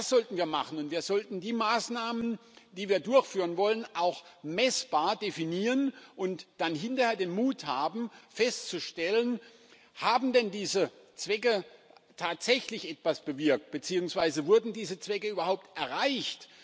Das sollten wir machen, und wir sollten die Maßnahmen, die wir durchführen wollen, auch messbar definieren und dann hinterher den Mut haben, festzustellen Haben denn diese Zwecke tatsächlich etwas bewirkt beziehungsweise wurden diese Zwecke überhaupt erreicht?